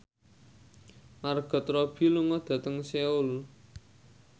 Margot Robbie lunga dhateng Seoul